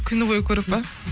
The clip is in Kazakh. күні бойы көріп пе